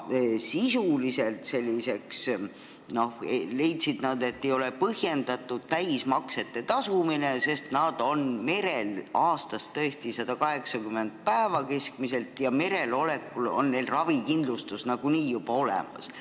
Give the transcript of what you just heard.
Nad leidsid, et täismaksete tasumine ei ole sisuliselt põhjendatud, sest meremehed on keskmiselt 180 päeva aastast merel, kus neil on ravikindlustus juba nagunii olemas.